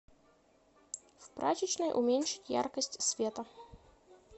в прачечной уменьшить яркость света